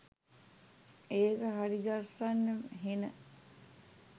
ඒක හරිගස්සන්න හෙන